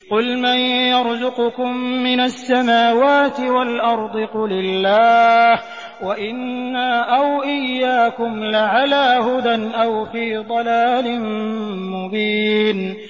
۞ قُلْ مَن يَرْزُقُكُم مِّنَ السَّمَاوَاتِ وَالْأَرْضِ ۖ قُلِ اللَّهُ ۖ وَإِنَّا أَوْ إِيَّاكُمْ لَعَلَىٰ هُدًى أَوْ فِي ضَلَالٍ مُّبِينٍ